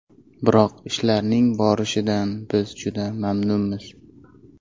Biroq ishlarning borishidan biz juda mamnunmiz.